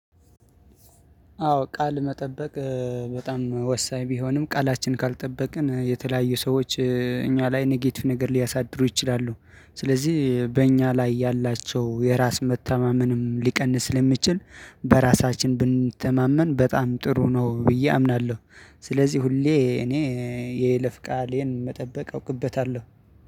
አዎ ቃል መጠበቅ በጣም ወሳኝ ቢሆንም ቃላችን ካልጠበቅን የተለያዩ ሰዎች እኛ ላይ ኔጌቲቭ ነገር ሊያሳድሩ ይችላሉ ስለዚህ በእኛ ላይ ያላቸው የራስ መታማመንም ሊቀንስ ለሚችል በራሳችን ብንተማመን በጣም ጥሩ ነው ብዬ አምናለሁ። ስለዚህ ሁሌ እኔ የይለፍ ቃሌን መጠበቅ አውቅበታለሁ